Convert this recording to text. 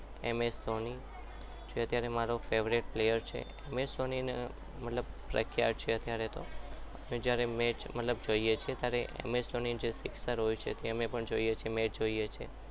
એમ S Dhoni જે મારો favourite player છે એમ એસ ધોની મતલબ મને ખ્યાલ છે જ્યારે અમે match જોઈએ છીએ ત્યારે તેની શિક્ષો હોય છે અમે match જોઈએ છીએ